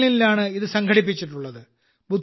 ബെർലിനിലാണ് ഇത് സംഘടിപ്പിച്ചിട്ടുള്ളത്